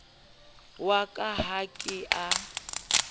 wa ka ha ke a